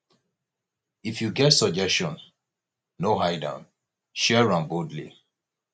if you get suggestion no hide am share am boldly